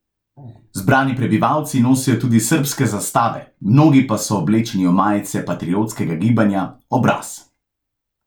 Zbrani prebivalci nosijo tudi srbske zastave, mnogi pa so oblečeni v majice patriotskega gibanja Obraz.